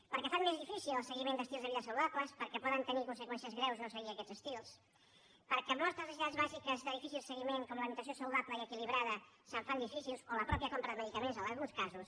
perquè fan més difícil el seguiment d’estils de vida saludables perquè pot tenir conseqüències greus no seguir aquests estils perquè moltes necessitats bàsiques de difícil seguiment com l’alimentació saludable i equilibrada es fan difícils o la mateixa compra de medicaments en alguns casos